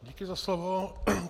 Děkuji za slovo.